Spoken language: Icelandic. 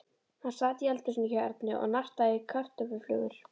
Hann sat í eldhúsinu hjá Erni og nartaði í kartöfluflögur.